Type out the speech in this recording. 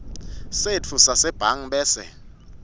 setfu sasebhange bese